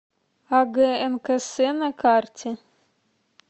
агнкс на карте